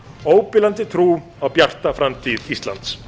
óbilandi trú á bjarta framtíð íslands